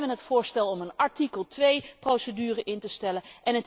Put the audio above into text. Wij hebben het voorstel om een artikel 2 procedure in te stellen.